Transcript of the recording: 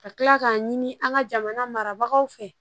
Ka kila k'a ɲini an ka jamana marabagaw fɛ